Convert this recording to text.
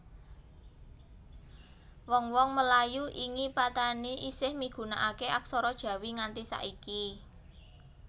Wong wong Melayu ingi Patani isih migunakaké aksara Jawi nganti saiki